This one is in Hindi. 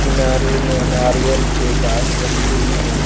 किनारे में नारियल के गाँछ लगी हुई हैं।